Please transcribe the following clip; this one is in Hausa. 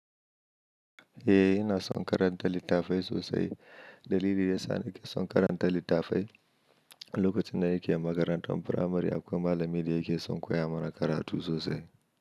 Eh ina son karanta littafai sosai. Dalili yasa nake son karanta littafai, lokacin da nike makarantan firamare akwai malami da yake son koya mana karatu sosai.